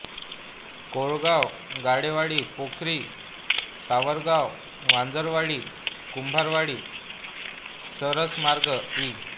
Kolgaon Gadewadi Pokhari Savargaon Vanjarwadi Kumbharwadi Sirasmarg इ